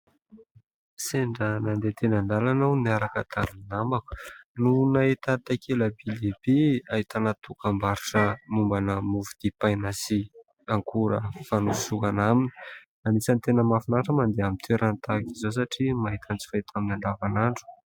Sendra nandeha teny an- dalana aho, niaraka tamin' ny namako no nahita takela- by lehibe aihtana dokam-barotra mombana mofo dipaina sy akora fanosorana aminy. Anisany tena mahafinaritra ny mandeha amin' ny toerana tahaka izao satria mahita ny tsy fahita amin'ny andavanandro.